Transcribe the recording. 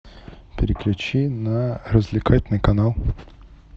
переключи на развлекательный канал